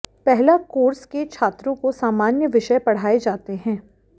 पहला कोर्स के छात्रों को सामान्य विषय पढ़ाए जाते हैं